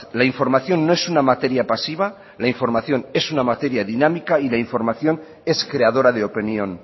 la información no es una materia pasiva la información es una materia dinámica y la información es creadora de opinión